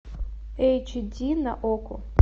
эйч ди на окко